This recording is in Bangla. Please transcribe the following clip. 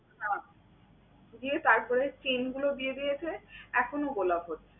হ্যাঁ সরিয়ে তারপরে chain গুলো দিয়ে দিয়েছে এখনও গোলাপ হচ্ছে।